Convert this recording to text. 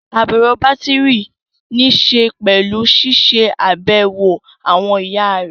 Àbẹ̀wò bátìrì níṣe pẹ̀lú ṣiṣẹ́ àbẹ̀wò àwọn ẹ̀yà rẹ̀